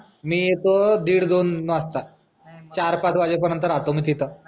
मी येतो दीड दोन वाजता. चार पाच वाजे पर्यन्त राहतो मग तिथं.